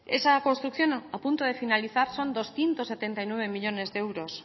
esa construcción a punto de finalizar son doscientos setenta y nueve millónes de euros